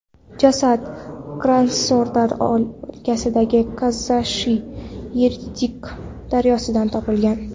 Jasad Krasnodar o‘lkasidagi Kazachiy Yerik daryosidan topilgan.